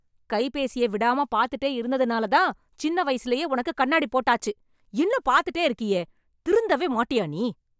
கைபேசியை விடாம பாத்துட்டே இருந்ததுனாலதான், சின்ன வயசுலயே உனக்கு கண்ணாடி போட்டாச்சு... இன்னும் பாத்துட்டே இருக்கியே... திருந்தவே மாட்டியா நீ...